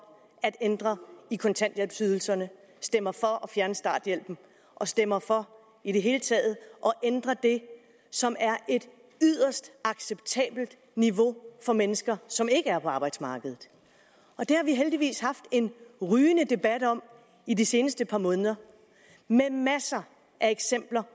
at ændre i kontanthjælpsydelserne stemmer for at fjerne starthjælpen og stemmer for i det hele taget at ændre det som er et yderst acceptabelt niveau for mennesker som ikke er på arbejdsmarkedet det har vi heldigvis haft en rygende debat om i de seneste par måneder med masser af eksempler